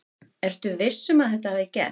Ertu viss um að þetta hafi gerst?